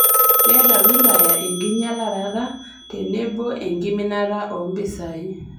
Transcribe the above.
Keeta wilaya enkinyialarata tenebo enkiminata oo mpisai